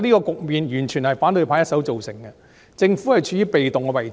這個局面完全是反對派一手造成的，政府處於被動的位置。